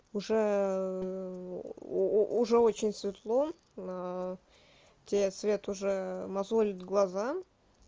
уже у уже очень светло тебе свет уже мозолит глаза